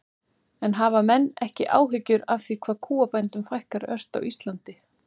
En hafa menn ekki áhyggjur af því hvað kúabændum fækkar ört á Íslandi?